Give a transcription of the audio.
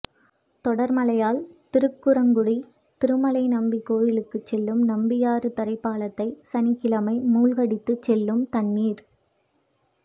தொடா்மழையால் திருக்குறுங்குடி திருமலைநம்பி கோயிலுக்குச் செல்லும் நம்பியாறு தரைப்பாலத்தை சனிக்கிழமை மூழ்கடித்துச் செல்லும் தண்ணீா்